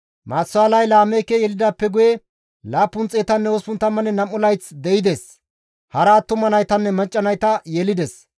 Maatusaalay Laameeke yelidaappe guye, 782 layth de7ides; hara attuma naytanne macca nayta yelides.